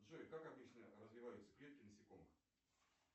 джой как обычно развиваются клетки насекомых